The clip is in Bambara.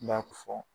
B'a fɔ